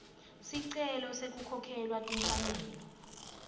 sicelo sekukhokhelwa timfanelo